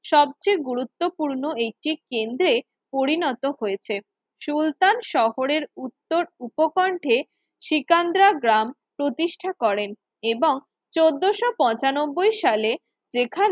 সবচেয়ে গুরুত্বপূর্ণ একটি কেন্দ্রে পরিণত হয়েছে সুলতান শহরের উত্তর উপকণ্ঠে শ্রীকান্দ্রা গ্রাম প্রতিষ্ঠা করেন এবং চোদ্দোশো পঁচানব্বই সালে যেখানে